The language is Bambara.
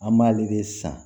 An b'ale de san